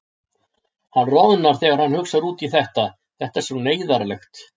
Hann roðnar þegar hann hugsar út í þetta, þetta er svo neyðarlegt.